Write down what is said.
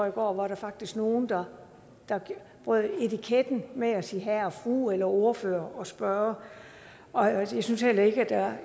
i går var der faktisk nogen der brød etiketten med at sige herre og fru eller ordfører og spørger og jeg syntes heller ikke at der